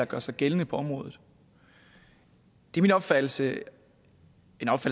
gør sig gældende på området en opfattelse